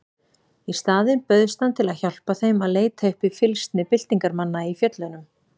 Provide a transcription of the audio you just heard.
Í staðinn bauðst hann til að hjálpa þeim að leita uppi fylgsni byltingarmanna í fjöllunum.